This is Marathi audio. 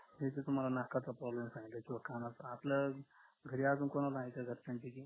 तिथ तुम्हाला नाकाचा problem सांगितलाय किंवा कानाचा आपल्या घरी अजून कोणाला आहे का घरच्यांपैकी